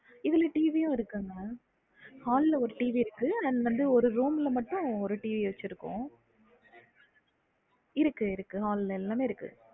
இதுல TV வும் இருக்குங்க hall ல ஒரு TV இருக்க and வந்து ஒரு room ல மட்டும் ஒரு TV வச்சிருகோம் இருக்கு இருக்கு hall எல்லாமே இருக்கு